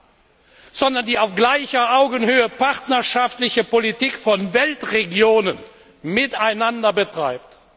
definiert, sondern die auf gleicher Augenhöhe partnerschaftliche Politik von Weltregionen miteinander betreibt.